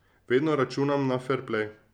Vedno računam na ferplej.